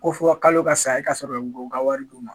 Ko fɔ k' ka saya e kaa sɔrɔ ko ka wari du ma.